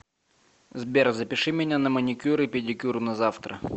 сбер запиши меня на маникюр и педикюр на завтра